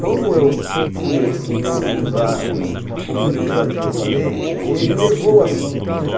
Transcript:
Como eu fui, assim, meio ousado, uma pouco de ousadia falei, ele levou o assunto para